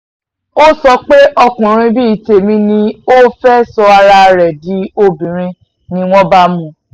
ó sọ pé ọkùnrin bíi tèmi ni ẹ ó ò fẹ́ẹ́ sọ ara ẹ̀ di obìnrin ni wọ́n bá mú